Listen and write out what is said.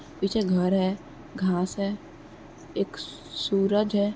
पीछे घर है। घास है। एक सूरज है।